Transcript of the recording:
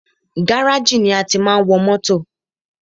Gáràjì ni a tí máa ń wọ mótò.